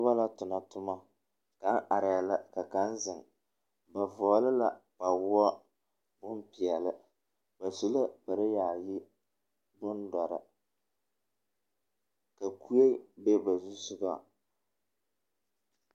Noba la tona toma. Kaŋa arɛɛ la ka kaŋa zeŋ ba vɔgele la kpawoɔ bompeɛle. Ba su la kpare yaayi bondɔre ka kue be ba zusogaŋ.